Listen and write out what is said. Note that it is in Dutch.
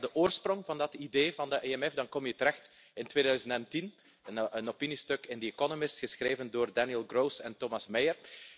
Als ik kijk naar de oorsprong van dat idee van de EMF, dan kom je terecht in 2010 bij een opiniestuk in The Economist geschreven door Daniel Gross en Thomas Meyer.